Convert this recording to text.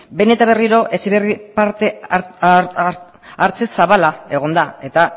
behin eta berriro heziberrin parte hartze zabala egon da eta